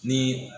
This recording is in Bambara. Ni